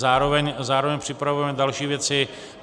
Zároveň připravujeme další věci.